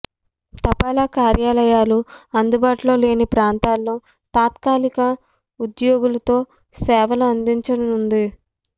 తపాలా కార్యాలయాలు అందుబాటులో లేని ప్రాంతాల్లో తాత్కాలిక ఉద్యో గులతో సేవలు అందించనుంది